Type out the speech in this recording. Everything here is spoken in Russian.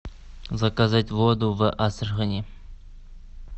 заказать воду в астрахани